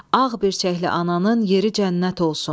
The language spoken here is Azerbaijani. Ağ birçəkli ananın yeri cənnət olsun.